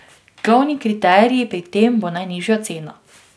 Glavni kriterij pri tem bo najnižja cena.